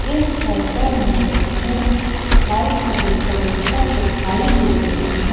इस फोटो मे मुझे लाइट की डेकोरेशन दिखाई दे रही है।